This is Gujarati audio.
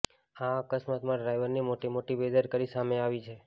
આ અકસ્માતમાં ડ્રાઈવરની મોટી મોટી બેદરકારી સામે આવી છે